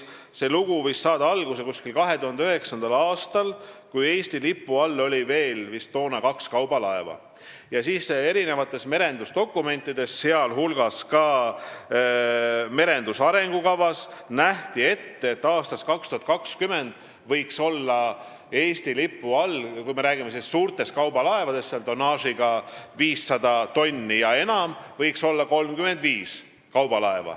See lugu võis saada alguse umbes 2009. aastal, kui Eesti lipu all oli toona vist kaks kaubalaeva ja merendusdokumentides, sh merenduse arengukavas, nähti ette, et aastaks 2020 võiks Eesti lipu all olla 35 kaubalaeva, kui me räägime suurtest kaubalaevadest tonnaažiga 500 tonni ja enam.